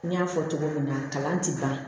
N y'a fɔ cogo min na kalan ti ban